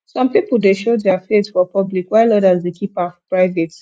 some pipo dey show dia faith for public while odas dey keep am private